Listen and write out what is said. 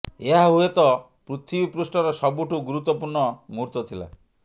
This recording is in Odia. ଏହା ହୁଏତ ପୃଥିବୀ ପୃଷ୍ଠର ସବୁଠୁ ଗୁରୁତ୍ୱପୂର୍ଣ୍ଣ ମୁହୂର୍ତ୍ତ ଥିଲା